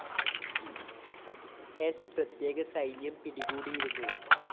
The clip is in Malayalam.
സ്‌ പ്രത്യേക സൈന്യം പിടികൂടിയിരുന്നു